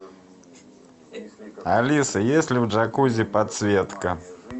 алиса есть ли в джакузи подсветка